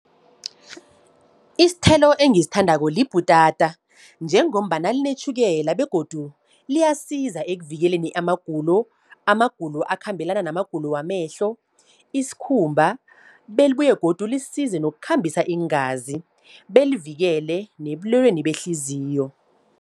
Isithelo engisithandako libhutata, njengombana linetjhukela, begodu liyasiza ekuvikeleni amagulo. Amagulo akhambelana namagulo wamehlo, isikhumba, belibuye godu lisize nokukhambisa iingazi, belivikele nebulweleni behliziyo.